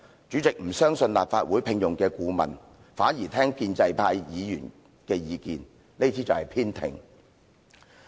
主席不相信立法會聘用的顧問，反而聽取建制派議員的意見，這便是偏聽。